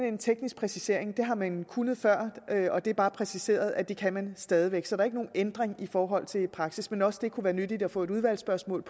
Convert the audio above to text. en teknisk præcisering det har man kunnet før og det er bare præciseret at det kan man stadig væk så der er ikke nogen ændring i forhold til praksis men også det kunne det være nyttigt at få et udvalgsspørgsmål